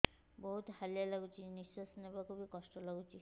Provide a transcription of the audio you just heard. ବହୁତ୍ ହାଲିଆ ଲାଗୁଚି ନିଃଶ୍ବାସ ନେବାକୁ ଵି କଷ୍ଟ ଲାଗୁଚି